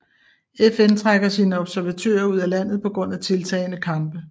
FN trækker sine observatører ud af landet på grund af tiltagende kampe